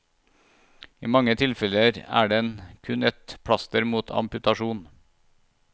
I mange tilfeller er den kun et plaster mot amputasjon.